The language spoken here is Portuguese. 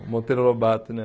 O Monteiro Lobato, né?